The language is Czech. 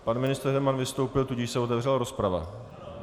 Pan ministr Herman vystoupil, tudíž se otevřela rozprava.